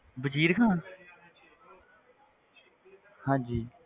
ਵਜ਼ੀਰ ਖ਼ਾਨ ਹਾਂਜੀ।